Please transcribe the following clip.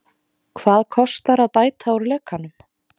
Hvað kostar að bæta úr lekanum?